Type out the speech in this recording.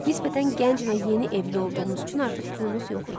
Nisbətən gənc və yeni evli olduğumuz üçün artıq pulumuz yox idi.